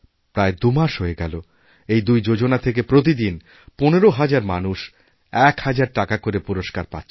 প্রায় দুমাস হয়ে গেলএই দুই যোজনা থেকে প্রতিদিন ১৫ হাজার মানুষ ১ হাজার টাকা করে পুরস্কার পাচ্ছেন